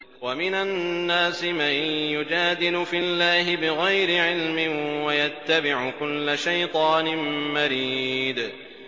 وَمِنَ النَّاسِ مَن يُجَادِلُ فِي اللَّهِ بِغَيْرِ عِلْمٍ وَيَتَّبِعُ كُلَّ شَيْطَانٍ مَّرِيدٍ